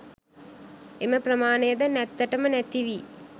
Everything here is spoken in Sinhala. එම ප්‍රමාණයද නැත්තටම නැතිවී